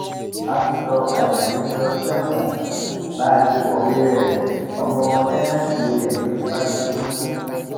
pásítọ ajayi ń lọ sẹwọn bá a ṣe kọwé rẹ ọmọ táǹtẹǹtì rẹ ló fipá ṣe kínní fún